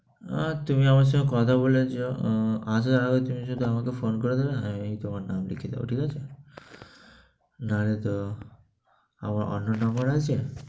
অ্যা তুমি আমার সঙ্গে কথা বলেছো, আসার আগে তুমি যদি আমাকে phone ফোন করে দাও না, আমিই তোমার নাম লিখে দিবো। ঠিক আছে? না লে তো আমার অন্য number আছে